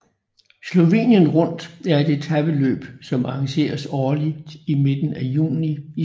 Slovenien Rundt er et etapeløb som arrangeres årligt i midten af juni i Slovenien